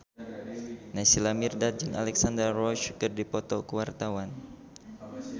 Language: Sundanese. Naysila Mirdad jeung Alexandra Roach keur dipoto ku wartawan